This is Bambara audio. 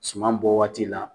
Suman bɔ waati la.